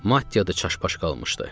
Maddiyyat da çaşbaş qalmışdı.